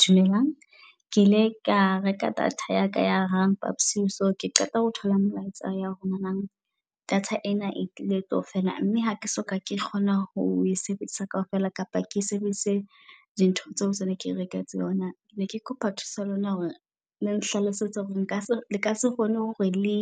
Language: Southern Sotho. Dumelang ke ile ka reka data yaka ya hang phapusing so ke qeta ho thola molaetsa ya rona nang data ena e tlile tlo fela. Mme hake so ka kgona ho sebedisa kaofela, kapa ke sebedise di ntho tseo tse ne ke reketse yona, ke ne ke kopa tsa lona hore le nhlalosetse hore leka se kgone hore le